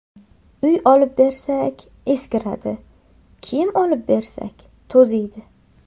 Uy olib bersak eskiradi, kiyim olib bersak to‘ziydi.